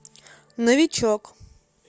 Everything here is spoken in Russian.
новичок